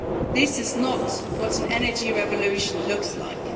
This is not what an energy revolution looks like.